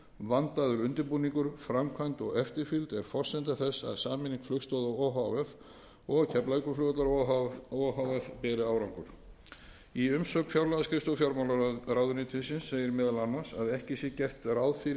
vandaður undirbúningur framkvæmd og eftirfylgd er forsenda þess að sameining flugstoða o h f og keflavíkurflugvallar o h f beri árangur í umsögn fjármálaskrifstofu fjármálaráðuneytisins segir meðal annars að ekki sé gert ráð fyrir